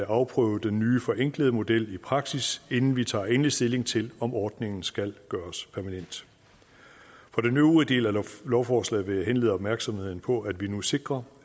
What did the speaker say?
afprøve den nye forenklede model i praksis inden vi tager endelig stilling til om ordningen skal gøres permanent for den øvrige del af lovforslaget vil jeg henlede opmærksomheden på at vi nu sikrer